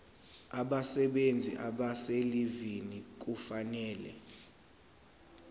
abasebenzi abaselivini kufanele